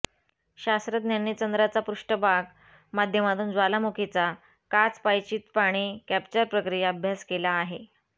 शास्त्रज्ञांनी चंद्राचा पृष्ठभाग माध्यमातून ज्वालामुखीचा काच पायचीत पाणी कॅप्चर प्रक्रिया अभ्यास केला आहे